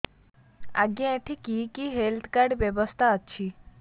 ଆଜ୍ଞା ଏଠି କି କି ହେଲ୍ଥ କାର୍ଡ ବ୍ୟବସ୍ଥା ଅଛି